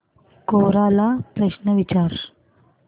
कोरा ला प्रश्न विचार